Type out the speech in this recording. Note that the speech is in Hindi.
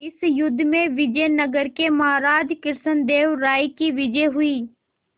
इस युद्ध में विजय नगर के महाराज कृष्णदेव राय की विजय हुई